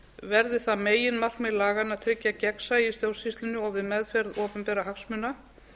verði það meginmarkmið laganna að tryggja gegnsæi í stjórnsýslunni og við meðferð opinberra hagsmuna